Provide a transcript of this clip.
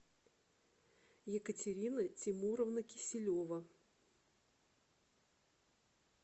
екатерина темуровна киселева